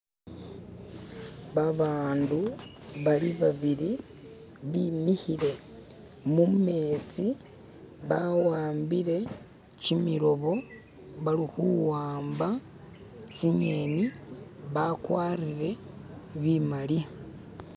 Babandu bali babiri, bimikile mumezi, bawambire gyimilobo, balikuwamba zinyeni, bagwatire bimali.